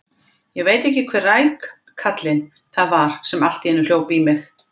Ég veit ekki hver rækallinn það var sem hljóp allt í einu í mig.